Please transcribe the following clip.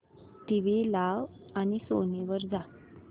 TV लाव आणि Sony वर जा